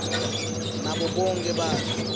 nabo bonkhe bantfu